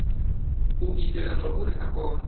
u itela zwauri a kone